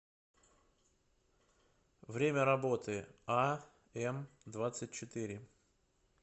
время работы а м двадцать четыре